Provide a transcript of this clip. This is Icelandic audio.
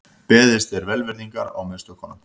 Beðist er velvirðingar á mistökunum